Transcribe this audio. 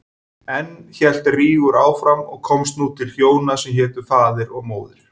Enn hélt Rígur áfram og kom nú til hjóna sem hétu Faðir og Móðir.